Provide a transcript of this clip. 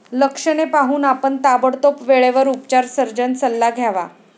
लक्षणे पाहून, आपण ताबडतोब वेळेवर उपचार सर्जन सल्ला घ्यावा.